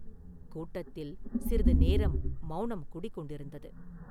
கூட்டத்தில் சிறிது நேரம் மௌனம் குடிகொண்டிருந்தது.